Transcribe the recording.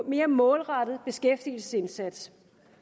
mere målrettet beskæftigelsesindsats